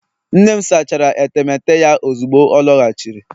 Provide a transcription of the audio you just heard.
nne m sachara etemeete ya ozugbo ọ lọghachiri